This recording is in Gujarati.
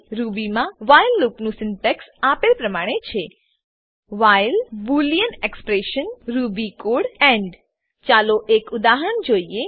રૂબીમાં વ્હાઈલ લૂપનું સીન્ટેક્સ આપેલ પ્રમાણે છે while boolean expression while boolean expression Ruby code Ruby code end end ચાલો એક ઉદાહરણ જોઈએ